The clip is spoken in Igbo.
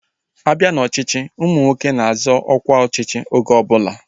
A bịa n'ọchịchị, ụmụ nwoke na-azọ ọkwa ọchịchị oge ọbụla